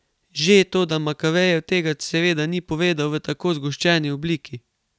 Že, toda Makavejev tega seveda ni povedal v tako zgoščeni obliki.